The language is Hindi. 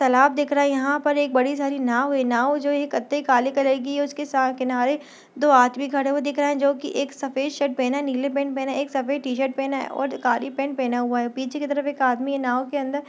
तालाब दिख रहा है यहाँ बड़ी नांव है नांव जो ये काले कलर की है और इसके किनारे दो आदमी खड़े हुये दिख रहे है जो एक सफ़ेद शर्ट पहना नीला पेंट पहना है एक सफ़ेद टीशर्ट और काली पेण्ट पहना हुआ है पीछे एक आदमी है नांव की तरफ।